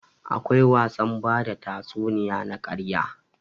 Akwai wasan bada tatsuniya na ƙarya.